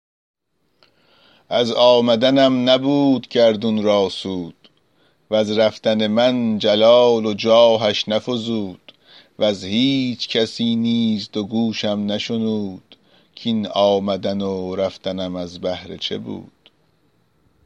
از آمدنم نبود گردون را سود وز رفتن من جلال و جاهش نفزود وز هیچ کسی نیز دو گوشم نشنود کاین آمدن و رفتنم از بهر چه بود